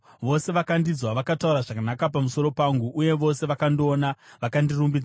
Vose vakandinzwa vakataura zvakanaka pamusoro pangu, uye vose vakandiona vakandirumbidza,